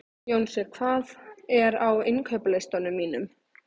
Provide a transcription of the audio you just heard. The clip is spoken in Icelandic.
Jónsi, hvað er á innkaupalistanum mínum?